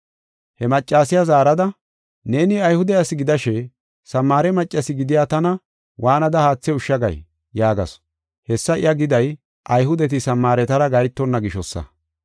He maccasiya zaarada, “Neeni Ayhude ase gidashe, Samaare maccas gidiya tana waanada haathe ushsha gay?” yaagasu. Hessa iya giday Ayhudeti Samaaretara gahetonna gishosa.